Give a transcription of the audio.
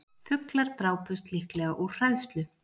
Fuglar drápust líklega úr hræðslu